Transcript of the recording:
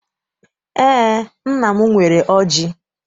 Eé, nna m nwere ọjị.